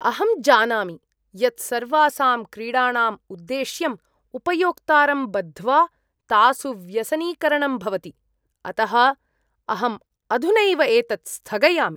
अहं जानामि यत् सर्वासां क्रीडाणाम् उद्देश्यम् उपयोक्तारं बद्ध्वा तासु व्यसनीकरणं भवति, अतः अहम् अधुनैव एतत् स्थगयामि।